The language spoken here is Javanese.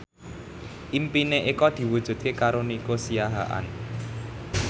impine Eko diwujudke karo Nico Siahaan